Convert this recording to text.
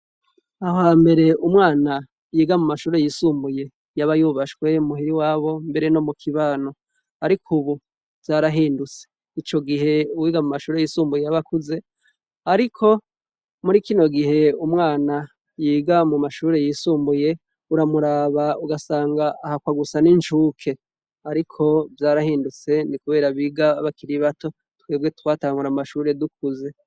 Aha mbere umwana yiga mu mashure yisumbuye yaba yubashwe muhira iwabo mbere no mu kibano ariko ubu vyarahindutse, ico gihe uwiga mu mashure yisumbuye yaba akuze ariko muri kino gihe umwana yiga mu mashuri yisumbuye uramuraba ugasanga ahakwa gusa n'incuke ariko vyarahindutse ni kubera biga bakiri bato twebwe twatangura amashure dukuze.